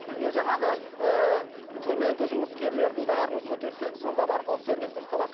бізге жаңағы ыыы төменгі жұмыскерлердің бәрін көтерсек сонда барып ол сервис дұрысталады